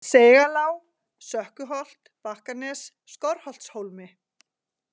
Seigalág, Sökkuholt, Bakkanes, Skorrholtshólmi